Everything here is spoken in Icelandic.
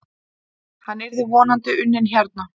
Hann yrði vonandi unnin hérna.